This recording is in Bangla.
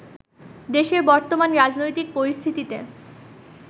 দেশের বর্তমান রাজনৈতিক পরিস্থিতিতে